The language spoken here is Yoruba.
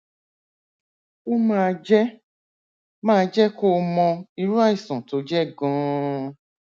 ó máa jẹ máa jẹ kó o mọ irú àìsàn tó jẹ ganan